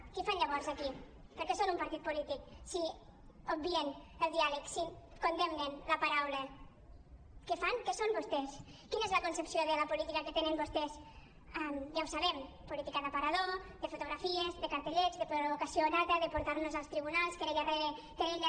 què hi fan llavors aquí per què són un partit polític si obvien el diàleg si condemnen la paraula què fan què són vostès quina és la concepció de la política que tenen vostès ja ho sabem política d’aparador de fotografies de cartellets de provocació nata de portar nos als tribunals querella rere querella